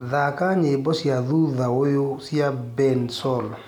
thaka nyĩmbo cĩa thũthaũyũ cĩa bensoul